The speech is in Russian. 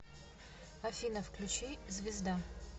афина включи звезда